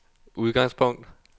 udgangspunkt